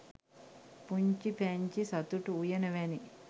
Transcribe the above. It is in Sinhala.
පුංචි පැංචි සතුටු උයන වැනි